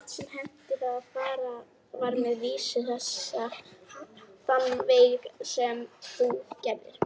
Eitt sinn henti það að farið var með vísu þessa þann veg sem þú gerðir.